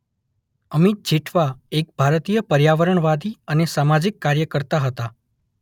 અમિત જેઠવા એક ભારતીય પર્યાવરણવાદી અને સામાજિક કાર્યકર્તા હતા.